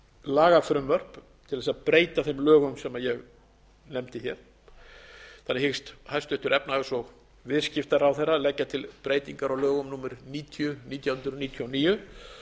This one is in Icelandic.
lagafrumvörp til að breyta þeim lögum sem ég nefndi hér þannig hyggst hæstvirtur efnahags og viðskiptaráðherra leggja til breytingar á lögum númer níutíu nítján hundruð níutíu og níu